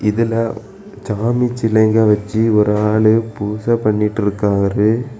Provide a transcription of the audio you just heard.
இதுல சாமி சிலெங்க வெச்சு ஒரு ஆளு பூசெ பண்ணிட்டு இருக்காரு.